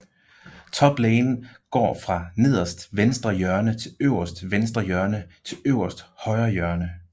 Top lane går fra nederst venstre hjørne til øverst venstre hjørne til øverst højre hjørne